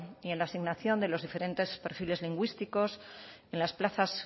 y en la asignación de los diferentes perfiles lingüísticos en las plazas